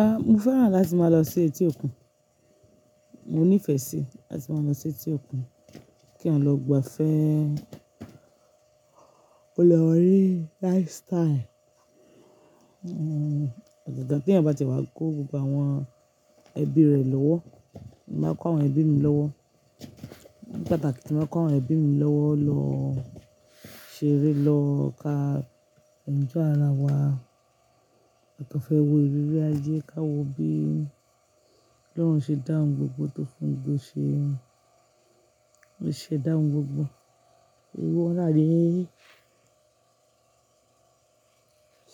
Ah, mo fẹ́ràn láti máa lọ sí etí òkun. Mo nífẹ̀ẹ́ sí láti máa lọ sí etí òkun, kí lọgbàá fẹ́, o lè rí lifestyle. Pàtàkì tí èèyàn bá ti wá kó gbogbo àwọn ẹbí rẹ̀ lọ́wọ́, màá kó àwọn ẹbí mi lọ́wọ́. Pàtàkì tí màá kó àwọn ẹbí mi lọ́wọ́ lọ ṣeré, lọ ka enjoy ara wa, à kọ́n fẹ́ wo ìrírí ayé, ká wo bí Ọlọ́run ṣe dá ohun gbogbo tó fún gbogbo ṣe, ṣe dá ohun gbogbo, ìwọ̀ráyẹ,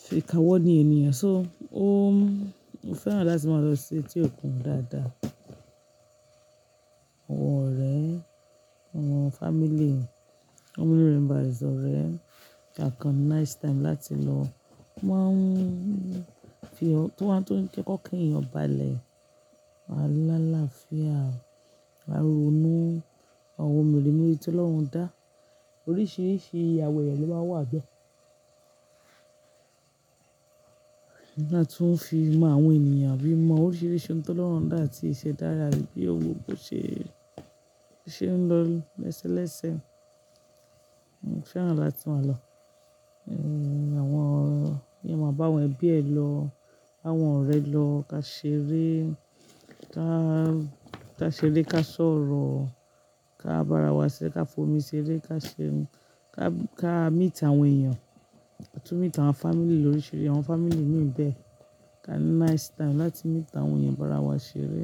ṣe ká wọ́n ni ènìyàn. So, o mo fẹ́ràn láti máa lọ sí etí òkun dáadáa. Àwọn ọ̀rẹ́, àwọn family, àwọn erinbàjẹ́ ọ̀rẹ́ ká kan nice time láti lọ. Wọ́n máa ń fi ọ-- tó wá tó ń kẹ́kọ̀ọ́ kí èèyàn bá lẹ̀, wá lá láfiá, wá ronú, àwọn ohun mèremère tí Ọlọ́run dá. Oríṣìíríṣìí àwẹ̀ ló máa wà lọ́gbà. Ká tún fi mọ àwọn ènìyàn, bí oríṣiríṣi tí Ọlọhun dá àti ìṣẹ̀dá rẹ, bí ohun gbogbo ṣe ń lọ lẹ́sẹ lẹ́sẹ. Mo fẹ́ràn láti máa lọ. Hmm, àwọn èèyàn máa bá àwọn ẹbí ẹ lọ, bá àwọn ọ̀rẹ́ ẹ lọ ká ṣeré, ká, ká ṣeré, ká sọ̀rọ̀, ká bá ara wa ṣẹ́, ká fomi ṣeré, ká ṣe, ká, ká meet àwọn èèyàn, tún meet àwọn family lóríṣìíríṣìí, àwọn family mìíràn bẹ́ẹ̀. Ká nice time láti meet àwọn èèyàn bá ara wa ṣeré.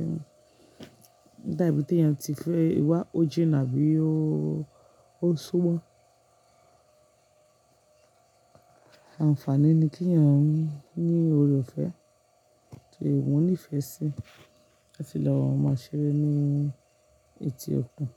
Nígbà ibi tí èèyàn ti fẹ́ ìwà o jínà àbí ó, ó súnmọ́. Àǹfààní ni kí èèyàn ní, ní ore ọ̀fẹ́ tí ìwọ nífẹ̀ẹ́ sí. Ó fi lọ́wọ́, máa ṣeré ní etí òkun.